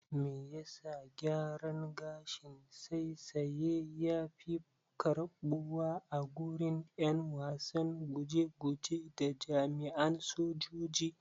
Me yasa gyaran gashin saisaye yafi karɓuwa agurin ƴan wasan guje guje da jami'an sojoji.